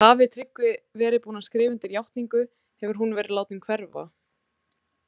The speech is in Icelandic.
Hafi Tryggvi verið búinn að skrifa undir játningu, hefur hún verið látin hverfa.